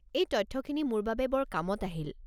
এই তথ্যখিনি মোৰ বাবে বৰ কামত আহিল।